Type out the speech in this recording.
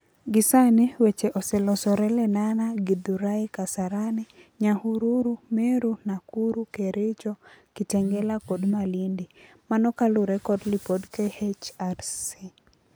Gisani weche oselosore Lenana, Githurai, Kasarani, Nyahururu, Meru, Nakuru, Kericho, Kitengela kod Malindi. Mno kalure kod lipod KHRC.